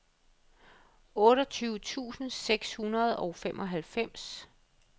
otteogtyve tusind seks hundrede og femoghalvfems